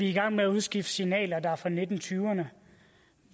i gang med at udskifte signaler der er fra nitten tyverne